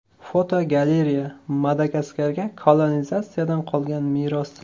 Fotogalereya: Madagaskarga kolonizatsiyadan qolgan meros.